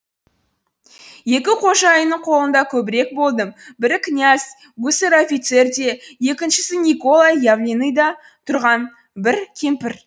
екі қожайынның қолында көбірек болдым бірі князь гусарь офицер де екіншісі никола явленныйда тұрған бір кемпір